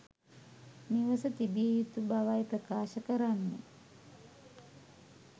නිවස තිබිය යුතු බවයි ප්‍රකාශ කරන්නේ.